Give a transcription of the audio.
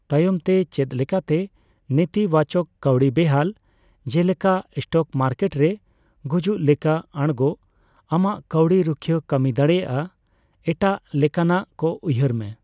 ᱛᱟᱭᱚᱢᱛᱮ, ᱪᱮᱫ ᱞᱮᱠᱟᱛᱮ ᱱᱮᱛᱤᱵᱟᱪᱚᱠ ᱠᱟᱣᱰᱤ ᱵᱮᱦᱟᱞ, ᱡᱮᱞᱮᱠᱟ ᱮᱥᱴᱚᱠ ᱢᱟᱨᱠᱮᱴᱨᱮ ᱜᱩᱡᱩᱜ ᱞᱮᱠᱟ ᱟᱲᱜᱚ, ᱟᱢᱟᱜ ᱠᱟᱣᱰᱤ ᱨᱩᱠᱷᱟᱹᱭᱟᱹ ᱠᱟᱹᱢᱤ ᱫᱟᱲᱮᱭᱟᱼᱟ ᱮᱴᱟᱜ ᱞᱮᱠᱟᱱᱟᱜ ᱠᱚ ᱩᱭᱦᱟᱹᱨ ᱢᱮ ᱾